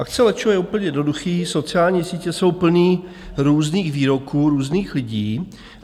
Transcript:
Akce lečo je úplně jednoduchý, sociální sítě jsou plný různých výroků různých lidí.